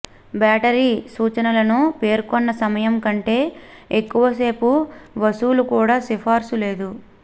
battery సూచనలను పేర్కొన్న సమయం కంటే ఎక్కువసేపు వసూలు కూడా సిఫార్సు లేదు